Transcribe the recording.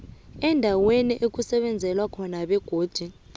endaweni yokusebenzela begodu